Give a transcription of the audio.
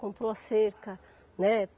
Comprou a cerca, né?